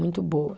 Muito boa.